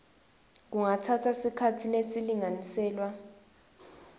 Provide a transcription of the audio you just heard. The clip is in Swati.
kungatsatsa sikhatsi lesilinganiselwa